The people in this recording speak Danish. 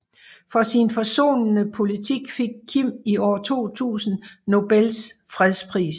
For sin forsonende politik fik Kim i år 2000 Nobels fredspris